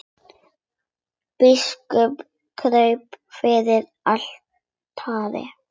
Biskup kraup fyrir altari.